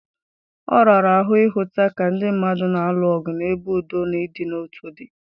Ọ rara ahụ ịhụta ka ndị mmadụ na-alụ ọgụ n’ebe udo na ịdị n’otu dị